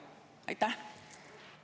Aitäh!